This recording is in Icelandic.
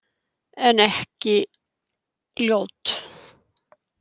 En ekki ljót.